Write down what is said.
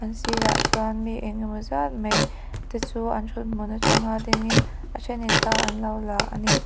a sirah chuan mi eng emaw zat mai te chu an thut hmun a tanga ding in a then in thla an lo la a ni.